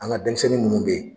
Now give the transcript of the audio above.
An ka denmisɛnnin munnu bɛ ye